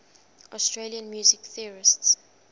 austrian music theorists